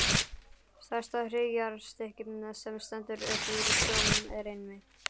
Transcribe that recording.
Stærsta hryggjarstykkið, sem stendur upp úr sjó, er einmitt